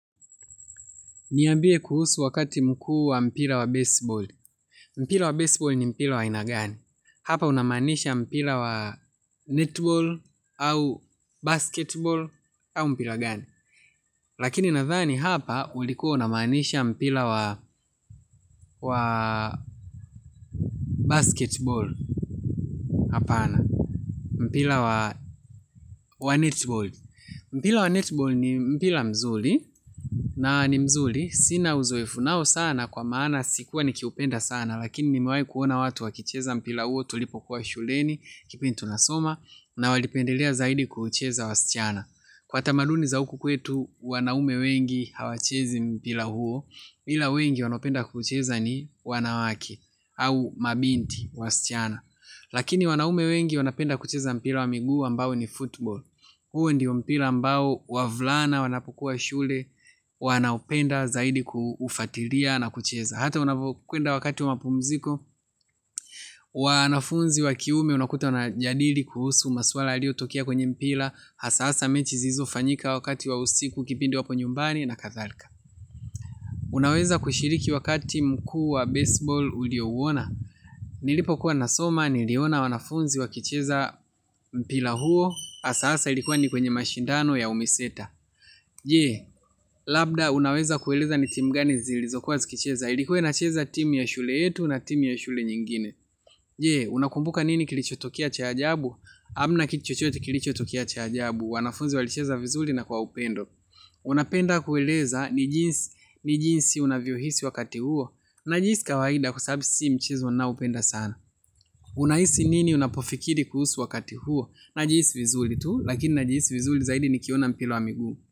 Niambie kuhusu wakati mkuu wa mpira wa baseball. Mpira wa baseball ni mpira wa aina gani. Hapa unamaanisha mpira wa netball au basketball au mpira gani. Lakini nadhani hapa ulikuwa unamaanisha mpira wa basketball. Hapana. Mpira wa netball. Mpila wa netball ni mpila mzuli. Na ni mzuri. Sina uzoefu nao sana kwa maana sikuwa nikiupenda sana. Lakini nimewai kuona watu wakicheza mpira huo tulipokuwa shuleni kipindi tunasoma na walipendelea zaidi kuucheza wasichana. Kwa tamaduni za huku kwetu wanaume wengi hawachezi mpira huo, ila wengi wanaopenda kuucheza ni wanawake au mabinti wasichana. Lakini wanaume wengi wanapenda kucheza mpira wa miguu ambao ni football. Huo ndio mpira ambao wavulana wanapokuwa shule wanaupenda zaidi kuufatilia na kucheza. Hata unavokwenda wakati wa pumziko, wanafunzi wa kiume unakuta wanajadili kuhusu masuala yaliotokea kwenye mpira. Hasa hasa mechi zilizofanyika wakati wa usiku kipindi wako nyumbani na kathalika. Unaweza kushiriki wakati mkuu wa baseball uliouona. Nilipokuwa nasoma, niliona wanafunzi wakicheza mpira huo. Hasa hasa ilikuwa ni kwenye mashindano ya umiseta. Je, labda unaweza kueleza ni timu gani zilizokuwa zikicheza. Ilikuwa inacheza timu ya shule yetu na timu ya shule nyingine. Je, unakumbuka nini kilichotokea cha ajabu? Hamna kitu chochote kilichotokea cha ajabu. Wanafunzi walicheza vizuri na kwa upendo. Unapenda kueleza ni jinsi unavyohisi wakati huo. Najihisi kawaida kwa sababu si mchezo ninaoupenda sana. Unahisi nini unapofikiri kuhusu wakati huo? Najihisi vizuri tu, lakini najihisi vizuri zaidi nikiona mpira wa miguu.